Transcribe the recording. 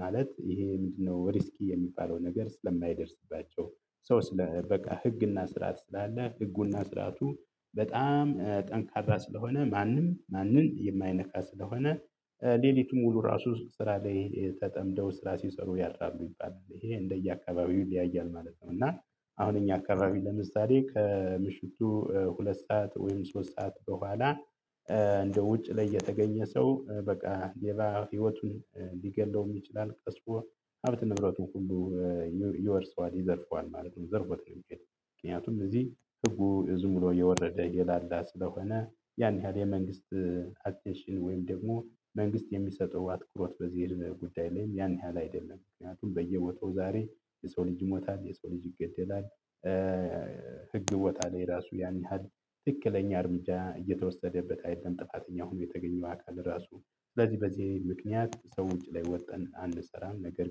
ማለት ይሄ ምንድነው ሪስኪ የሚባለው ነገር ስለማይደርስባቸው። ሰው ስለ በቃ ህግና ስርዓት ስላለ ህጉና ስርዓቱ በጣም ጠንካራ ስለሆነ ማንም ማንንም የማይነካ ስለሆነ። ሌሊቱን ሙሉ ራሱ ስራ ላይ ተጠምደው ስራ ሲሰሩ ያድራሉ ይባላል ይሄ እንደየአካባቢው ይለያያል ማለት ነው። እና አሁን እኛ አካባቢ ለምሳሌ ከምሽቱ ሁለት ሰዓት ወይም ሶስት ሰዓት በኋላ እንደው ውጭ ላይ የተገኘ ሰው በቃ ሌባ ህይወቱን ልገለውም ይችላል ከሱም አልፎ ሀብት ንብረቱን ሁሉ ይ ይወርሰዋል ይዘርፈዋል ማለት ነው። ዘርፎትነው የሚሄደው ምክንያቱም እዚህ ህጉ ዝም ብሎ የወረደ የላላ ስለሆነ ያን ያህል የመንግስት አቴንሽን ወይም ደግሞ መንግስት የሚሰጠው አትኩሮት በዚህ ጉዳይ ላይ ያን ያህል አይደለም። ምክንያቱም በየቦታው ዛሬ የሰው ልጅ ይሞታል የሰው ልጅ ይገደላል። ህገወጣ ላይ ራሱ ያን ያህል ትክክለኛ እርምጃ እየተወሰደበት አይደለም። ጥፋተኛ ሆኖ የተገኘው አካል ራሱ ስለዚህ በዚህ ምክንያት ማታ ውጪ ላይ ወተን አንሰራም ነገር